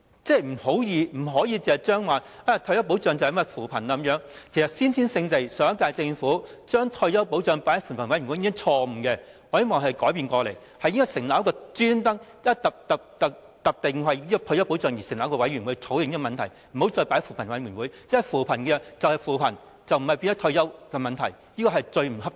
政府不可以視退休保障等同扶貧，其實上屆政府把退休保障放在扶貧委員會討論，已是先天性的錯誤，我希望可以改變過來，應該特別為退休保障成立委員會作出討論，而不要再放在扶貧委員會，因為扶貧就是扶貧，不應變成退休問題，這是最不恰當的。